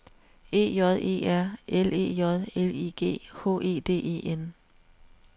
E J E R L E J L I G H E D E N